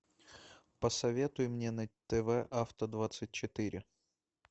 посоветуй мне на тв авто двадцать четыре